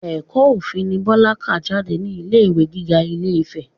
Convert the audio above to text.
Ẹ̀kọ́ òfin ni Bọlá kà jáde ní ilé ìwé gíga ilé-ìfẹ́